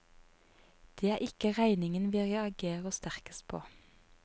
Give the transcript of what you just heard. Det er ikke regningen vi reagerer sterkest på.